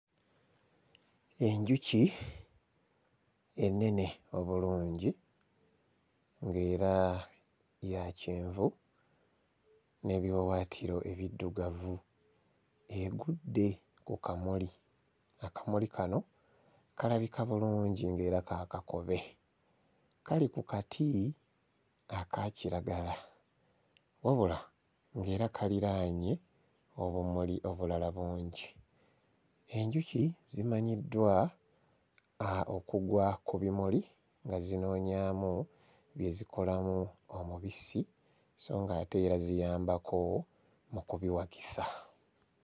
Enjuki ennene obulungi ng'era ya kyenvu n'ebiwawaatiro ebiddugavu egudde ku kamuli. Akamuli kano kalabika bulungi ng'era ka kakobe. Kali ku kati aka kiragala wabula ng'era kaliraanye obumuli obulala bungi. Enjuki zimanyiddwa okugwa ku bimuli nga zinoonyaamu bye zikolamu omubisi so ng'ate era ziyambako mu kubiwakisa.